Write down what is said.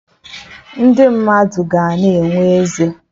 Ndị mmadụ ga na-enwe eze